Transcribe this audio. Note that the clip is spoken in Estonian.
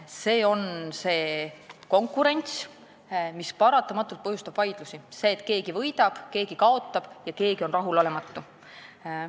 Selline konkurents põhjustab paratamatult vaidlusi, sest keegi võidab, keegi kaotab ja keegi on rahulolematu.